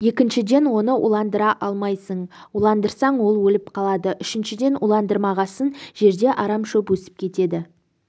екіншіден оны уландыра алмайсың уландырсаң ол өліп қалады үшіншіден уландырмағасын жерде арам шөп өсіп кетеді